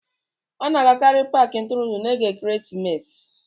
A na-agakarị Paakị ntụrụndụ n'oge ekeresimesi